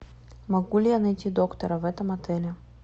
могу ли я найти доктора в этом отеле